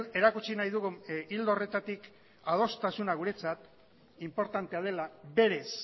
erakutsi nahi dugu ildo horretatik adostasuna guretzat inportantea dela berez